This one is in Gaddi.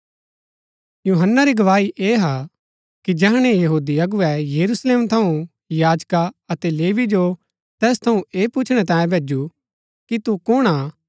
यूहन्‍ना री गवाही ऐह हा कि जैहणै यहूदी अगुवै यरूशलेम थऊँ याजका अतै लेवी जो तैस थऊँ ऐह पुछणै तांयें भैजु कि तू कुण हा